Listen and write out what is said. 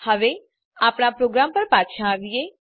હવે આપણા પ્રોગ્રામ પર પાછા આવીએ